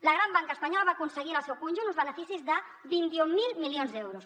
la gran banca espanyola va aconseguir en el seu conjunt uns beneficis de vint mil milions d’euros